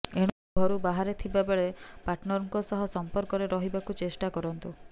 ଏଣୁ ଘରୁ ବାହାରେ ଥିବା ବେଳେ ପାର୍ଟନରଙ୍କ ସହ ସମ୍ପର୍କରେ ରହିବାକୁ ଚେଷ୍ଟା କରନ୍ତୁ